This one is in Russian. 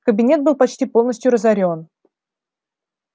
кабинет был почти полностью разорён